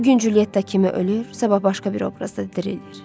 Bu gün Culyetta kimi ölür, sabah başqa bir obrazda dirilir.